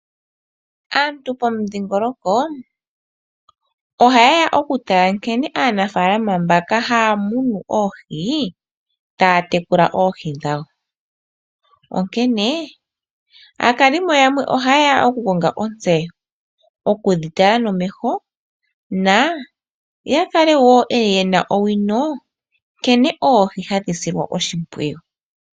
Aantu pomudhingoloko, ohayeya okutala nkene aanafaalama mbaka haya munu oohi, taya tekula oohi dhawo, onkene aakalimo yamwe ohayeya okukonga otseyo, okudhitala nomeho na yakale wo yena owino nkene oohi hadhi silwa oshimwiyu.